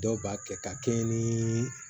Dɔw b'a kɛ ka kɛɲɛ ni